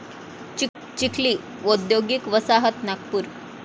चिखली औद्योगिक वसाहत नागपूर